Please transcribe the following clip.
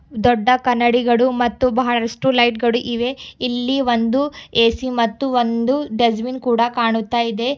ದೊಡ್ಡ ಕನ್ನಡಿಗಳು ಮತ್ತು ಬಹಳಷ್ಟು ಲೈಟ್ ಗಳು ಇವೆ ಇಲ್ಲಿ ಒಂದು ಎ_ಸಿ ಮತ್ತು ಒಂದು ದುಷ್ಟಬಿನ್ ಕೂಡ ಕಾಣುತ್ತಾ ಇದೆ.